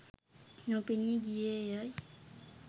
නොපෙනී ගියේ ය’ යි